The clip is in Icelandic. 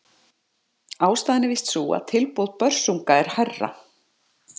Ástæðan er víst sú að tilboð Börsunga er hærra.